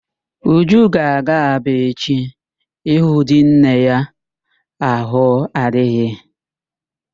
Uju ga-aga Aba echi ịhụ di nne ya ahụ adịghị.